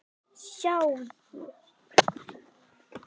Sjáðu